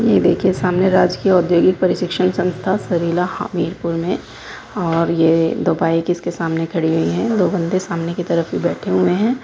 ये देखिये सामने राजकीय औद्योगिक प्रशिक्षण संस्था सरीला हामिरपुर में और ये दो बाइक इसके सामने खड़ी हुई हैं दो बंदे सामने की तरफ ही बैठे हुए हैं।